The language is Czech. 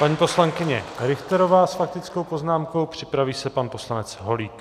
Paní poslankyně Richterová s faktickou poznámkou, připraví se pan poslanec Holík.